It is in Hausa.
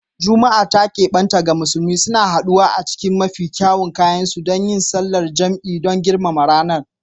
Juma’a ta kebanta da musulmi, suna haduwa a cikin mafi kyawun kayansu don yin sallar jam’i don girmama ranar.